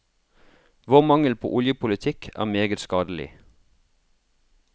Vår mangel på oljepolitikk er meget skadelig.